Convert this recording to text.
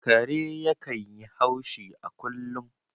Kare yakan yi haushi a kullum